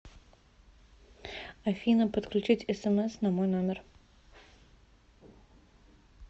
афина подключить смс на мой номер